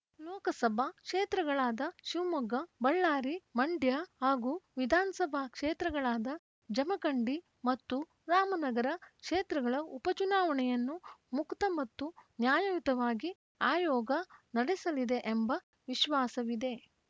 ಲೋಕಸಭಾ ಕ್ಷೇತ್ರಗಳಾದ ಶಿವಮೊಗ್ಗ ಬಳ್ಳಾರಿ ಮಂಡ್ಯ ಹಾಗೂ ವಿಧಾನಸಭಾ ಕ್ಷೇತ್ರಗಳಾದ ಜಮಖಂಡಿ ಮತ್ತು ರಾಮನಗರ ಕ್ಷೇತ್ರಗಳ ಉಪ ಚುನಾವಣೆಯನ್ನು ಮುಕ್ತ ಮತ್ತು ನ್ಯಾಯಯುತವಾಗಿ ಆಯೋಗ ನಡೆಸಲಿದೆ ಎಂಬ ವಿಶ್ವಾಸವಿದೆ